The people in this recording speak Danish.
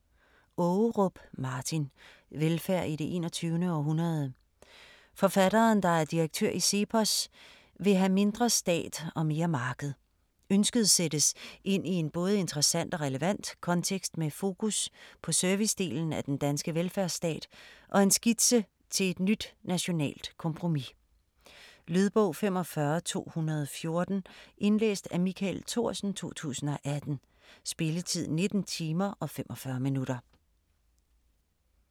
Ågerup, Martin: Velfærd i det 21. århundrede Forfatteren, der er direktør i CEPOS, vil have mindre stat og mere marked. Ønsket sættes ind i en både interessant og relevant kontekst med fokus servicedelen af den danske velfærdsstat og en skitse til et nyt nationalt kompromis. Lydbog 45214 Indlæst af Michael Thorsen, 2018. Spilletid: 19 timer, 45 minutter.